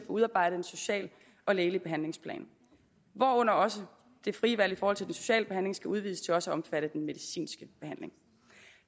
udarbejdet en social og lægelig behandlingsplan hvorunder også det frie valg i forhold til den sociale behandling skal udvides til også at omfatte den medicinske behandling